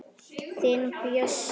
Þinn Bjössi.